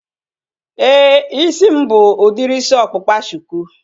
Éè, isi m bụ udiri isi ọkpụkpa shuku